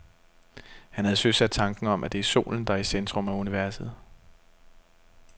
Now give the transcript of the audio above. Han havde søsat tanken om, at det er solen, der er i centrum af universet.